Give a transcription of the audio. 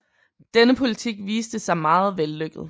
Denne politik viste sig meget vellykket